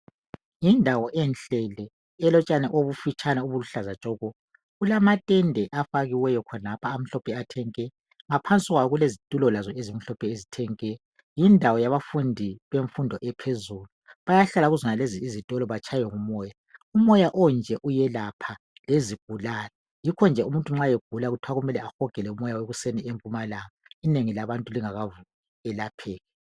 Yindawo enhle le elotshani obufitshane obuluhlaza tshoko kulamatente afikiweyo khona lapha amhlophe nke laphansi lapha kulezitulo ezimhlophe nke yindawo yabafundi ywmfundo phezulu bayahlala kuzonalezo izitolo batshaywe ngumoya umoya onje uyelapha lezigulane yikho kuthiwa umuntu ma evuka ekuseni ehotshe umoya ovela empumalanga inengi labantu lingakavuki elapheke